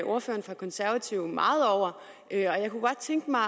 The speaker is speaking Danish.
ordføreren for konservative meget over og jeg kunne godt tænke mig